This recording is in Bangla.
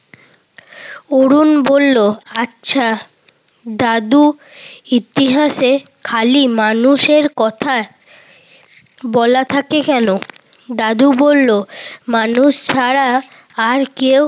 অরুণ বলল, আচ্ছা দাদু ইতিহাসে খালি মানুষের কথা বলা থাকে কেন? দাদু বলল, মানুষ ছাড়া আর কেউ